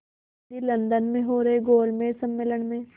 Gandhi London में हो रहे गोलमेज़ सम्मेलन में